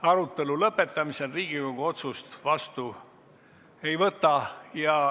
Arutelu lõpetamisel Riigikogu otsust vastu ei võta.